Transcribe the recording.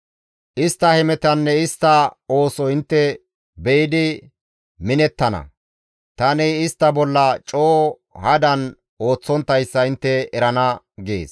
Istta hemetanne istta ooso intte be7idi minettana; tani istta bolla coo hadan ooththonttayssa intte erana» gees.